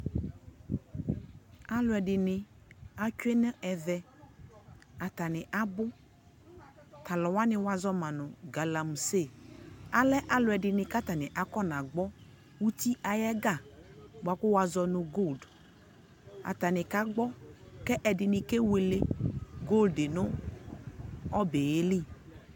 alʋɛdini atwɛ nʋ ɛvɛ, atani abʋ, talʋ wa wazɔma nʋ galamse, alɛ alʋɛdini kʋ afɔ na gbɔ ʋti ayi ɛga bʋa kʋ wazɔnʋ gold, atani ka gbɔ kʋ ɛdini kɛ wɛlɛ goldɛ nʋ ɔbɛɛli